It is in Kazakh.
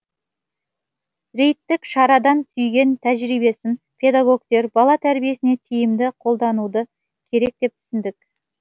рейдтік шарадан түйген тәжірибесін педагогтер бала тәрбиесіне тиімді қолдануды керек деп түсіндік